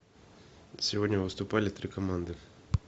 сегодня выступали три команды